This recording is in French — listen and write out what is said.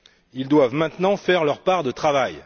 Ils doivent maintenant faire leur part de travail.